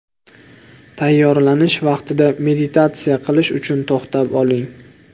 Tayyorlanish vaqtida meditatsiya qilish uchun to‘xtab oling.